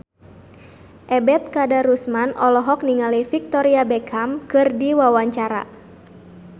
Ebet Kadarusman olohok ningali Victoria Beckham keur diwawancara